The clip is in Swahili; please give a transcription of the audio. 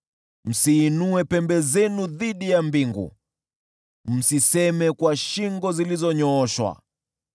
Msiinue pembe zenu dhidi ya mbingu; msiseme kwa shingo zilizonyooshwa.’ ”